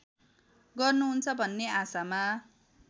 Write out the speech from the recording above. गर्नुहुन्छ भन्ने आशामा